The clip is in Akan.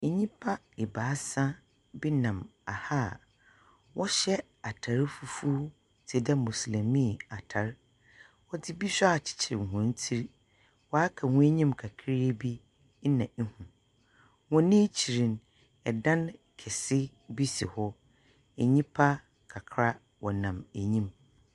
Nnyimpa ebaasa bi nam aha a wɔhyɛ atar fufuw tse dɛ moslɛmii atar. Wɔdze bi nso akyekyer wɔn tsir. Waka hɔn enyim kakraa bi na ihu. Hɔn akyir no idan akɛse bi si hɔ. Nnyipa kakra wɔnam eyim.